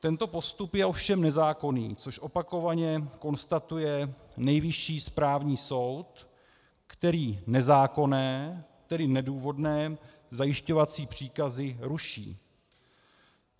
Tento postup je ovšem nezákonný, což opakovaně konstatuje Nejvyšší správní soud, který nezákonné, tedy nedůvodné zajišťovací příkazy ruší.